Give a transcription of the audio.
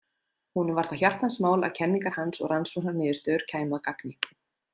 Honum var það hjartans mál að kenningar hans og rannsóknarniðurstöður kæmu að gagni.